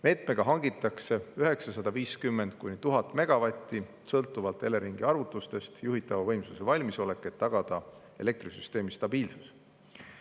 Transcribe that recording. Meetme abil hangitakse 950–1000 megavatti, mis on sõltuvalt Eleringi arvutustest juhitava võimsuse valmisolek, et tagada elektrisüsteemi stabiilsus.